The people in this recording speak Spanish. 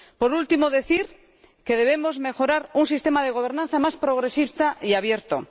Por último, quiero decir que debemos lograr un sistema de gobernanza más progresista y abierto.